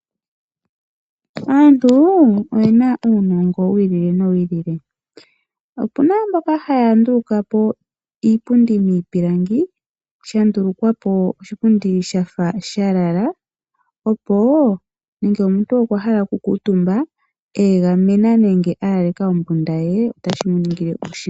Aantu oyena uunongo wiili nowiili . Opuna mboka haya ndulukapo iipundi miipilangi , sha ndulukwapo shafa shalala opo ngele omuntu okwa hala okukuutumba alalitha ombunda ye.